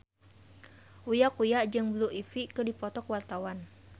Uya Kuya jeung Blue Ivy keur dipoto ku wartawan